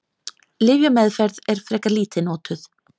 Lyfjameðferð er frekar lítið notuð.